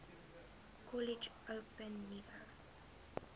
kollege open nuwe